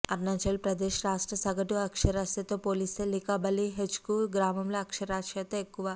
అరుణాచల్ ప్రదేశ్ రాష్ట్ర సగటు అక్షరాస్యతతో పోలిస్తే లికబాలి హెచ్క్యూ గ్రామంలో అక్షరాస్యత ఎక్కువ